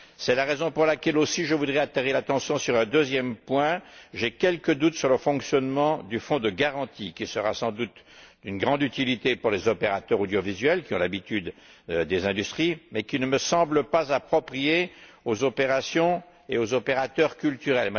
C'est la raison pour laquelle je voudrais aussi attirer l'attention sur un deuxième point j'ai quelques doutes sur le fonctionnement du fonds de garantie, qui sera sans doute d'une grande utilité pour les opérateurs audiovisuels qui ont l'habitude des industries mais qui ne me semble pas approprié aux opérations et aux opérateurs culturels.